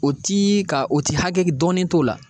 O ti ka o ti hakɛ dɔnnen t'o la.